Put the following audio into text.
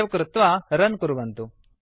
save कृत्वा run कुर्वन्तु